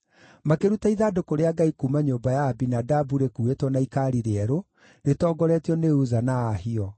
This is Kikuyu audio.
Makĩruta ithandũkũ rĩa Ngai kuuma nyũmba ya Abinadabu rĩkuuĩtwo na ikaari rĩerũ, rĩtongoretio nĩ Uza na Ahio.